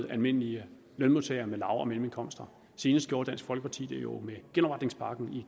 almindelige lønmodtagere med lav og mellemindkomster senest gjorde dansk folkeparti det jo med genopretningspakken i